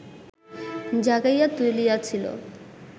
জাগাইয়া তুলিয়াছিল